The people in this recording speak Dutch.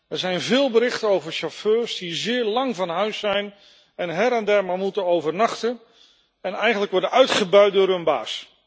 Er zijn veel berichten over chauffeurs die zeer lang van huis zijn en her en der maar moeten overnachten en eigenlijk worden uitgebuit door hun baas.